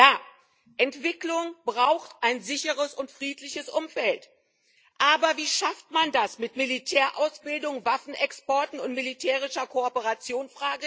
Ja, Entwicklung braucht ein sicheres und friedliches Umfeld, aber wie schafft man das mit Militärausbildung, Waffenexporten und militärischer Kooperation?